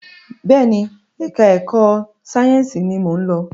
Bẹẹni, ẹka ẹ̀kọ́ sáyẹnsì ní mọ ń lọ.